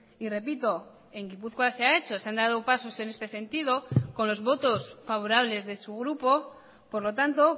y repito en gipuzkoa se ha hecho se han dado pasos en este sentido con los votos favorables de su grupo por lo tanto